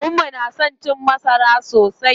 Maman mu tana son cin masara sosai.